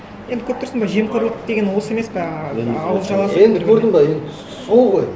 енді көріп тұрсың ба жемқорлық деген осы емес пе ауыз жабасың енді көрдің бе енді сол ғой